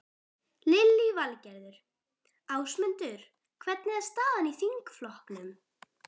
Lillý Valgerður: Ásmundur, hvernig er staðan í þingflokknum?